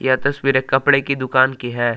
ए तस्वीर एक कपड़े की दुकान की है।